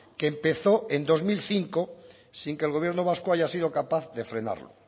que empezó en dos mil cinco sin que el gobierno vasco haya sido capaz de frenarlo